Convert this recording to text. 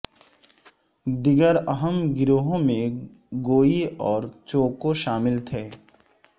دیگر اہم گروہوں میں گوئی اور چوکو شامل تھے